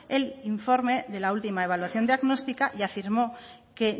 el informe de la última evaluación diagnóstica y afirmó que